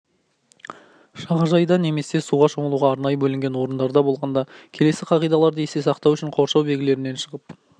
жағажайда немесе суға шомылуға арнайы бөлінген орындарда болғанда келесі қағидаларды есте сақтау қажет қоршау белгілерінен шығып